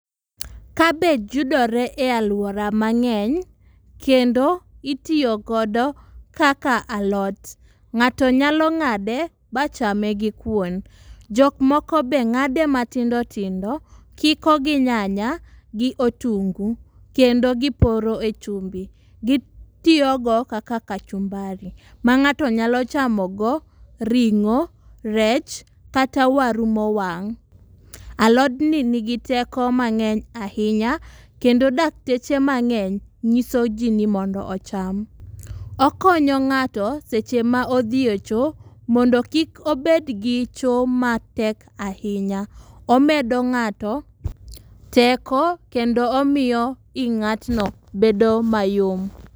Kabich yudore e aluora mang'eny kendo itiyo godo kaka alot. Ng'ato nyalo ng'ade ma chame gi kuon. Jok moko bende ng'ade matindo tindo.,kiko gi nyanya gi otungu kendo giporo e chumbi. Gitiyo go kaka kachumbari ma ng'ato nyalo chamogo ring'o, rech, kata waru mowang'. Alodni nigi teko mang'eny ahinya kendo dakteche mang'eny nyisoji mondo ocham. Okonyo ng'ato seche ma odhi e cho mondo kik obed gi cho matek ahinya. Omedo ng'ato teko kendo omiyo i ng'atno bedo mayom.